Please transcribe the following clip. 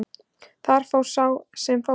Þar fór sem fór.